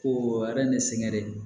Ko